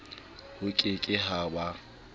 ho ke ke ha ba